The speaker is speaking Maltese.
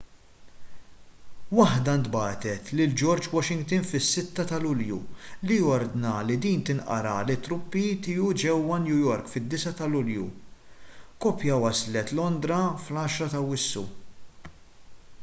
waħda ntbagħtet lil george washington fis-6 ta' lulju li ordna li din tinqara lit-truppi tiegħu ġewwa new york fid-9 ta' lulju kopja waslet londra fl-10 ta' awwissu